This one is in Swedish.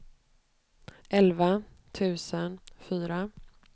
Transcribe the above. elva tusen fyra